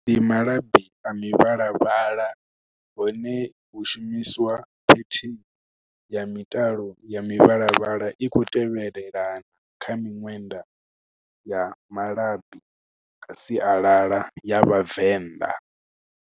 Ndi malabi a mivhalavhala, hone hu shumiswa ya mitalo ya mivhalavhala, i khou tevhelelana kha miṅwenda ya malabi a sialala ya Vhavenḓa.